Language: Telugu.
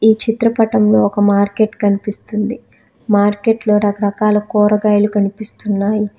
చిత్రపటం లో ఒక మార్కెట్ కనిపిస్తుంది మార్కెట్లో రకాల కూరగాయలు కనిపిస్తున్నాయి.